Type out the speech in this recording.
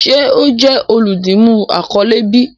Ṣe o jẹ oludimu akọle bi?